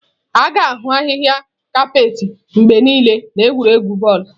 A ga-ahụ ahịhịa kapeeti mgbe niile n'egwuregwu bọọlụ.